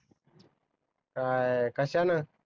काय कश्यान?